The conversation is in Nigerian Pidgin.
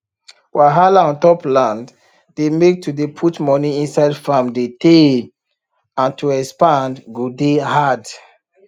wahala ontop land dey make to dey put money inside farm de teyyy and to expand go dey hard